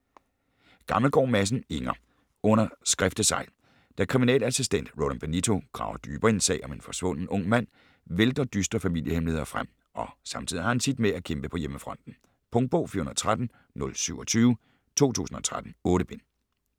Gammelgaard Madsen, Inger: Under skriftesegl Da kriminalassistent Roland Benito graver dybere i en sag om en forsvunden ung mand vælter dystre familiehemmeligheder frem, og samtidig har han sit at kæmpe med på hjemmefronten. Punktbog 413027 2013. 8 bind.